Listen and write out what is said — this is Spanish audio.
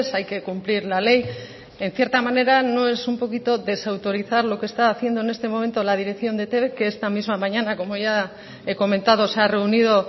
hay que cumplir la ley en cierta manera no es un poquito desautorizar lo que está haciendo en este momento la dirección de etb que esta misma mañana como ya he comentado se ha reunido